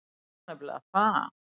Það var nefnilega það.